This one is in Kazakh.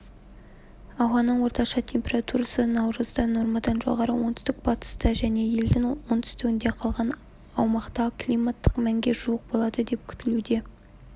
ауаның орташа температурасы наурызда нормадан жоғары оңтүстік-батыста және елдің оңтүстігінде қалған аумақта климаттық мәнге жуық болады деп күтіледі